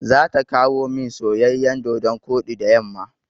Za ta kawomin soyayyan dodon koɗi da yamma.